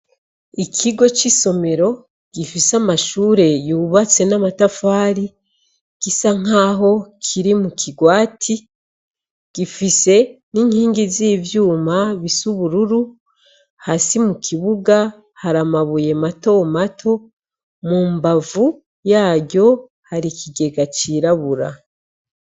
Ikigo c'isomero gifise amashure yubatse n'amatafari gisa nk'aho kiri mu kigwati gifise n'inkingi z'ivyuma bisubururu hasi mu kibuga haramabuye mato mato mu mbavu yaryo hari ikigega cirabura.